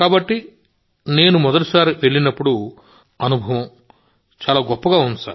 కాబట్టినేను మొదటిసారి వెళ్ళినప్పుడునా అనుభవం చాలా బాగుంది